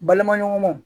Balimaɲɔgɔnmaw